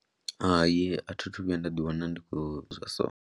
Hai, a thi tu vhuya nda ḓiwana ndi khou zwa so.